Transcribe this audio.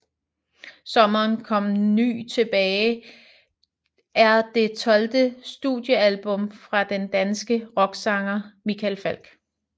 Sommeren kom ny tilbage er det tolvte studiealbum fra den danske rocksanger Michael Falch